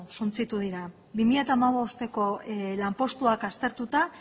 suntsitu dira bi mila hamabosteko lanpostuak aztertuta